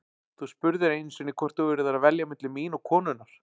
Þú spurðir einu sinni hvort þú yrðir að velja milli mín og konunnar.